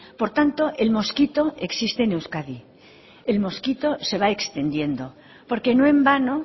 por tanto el mosquito existe en euskadi el mosquito se va extendiendo porque no en vano